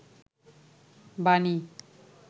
বানী